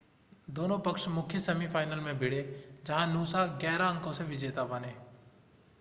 दोनों पक्ष मुख्य सेमीफ़ाइनल में भिड़े जहां नूसा 11 अंकों से विजेता बने